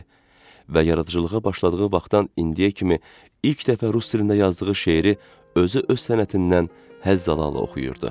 Və yaradıcılığa başladığı vaxtdan indiyə kimi ilk dəfə rus dilində yazdığı şeiri özü öz sənətindən həzz alala oxuyurdu.